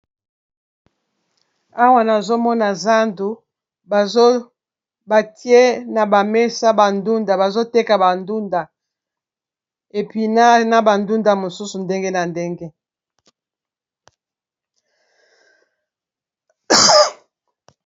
Awa nazomona zandu batie na ba mesa ba ndunda bazoteka ba ndunda epinard na ba ndunda mosusu ya ndenge na ndenge.